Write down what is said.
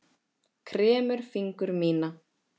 Kremur fingur mína.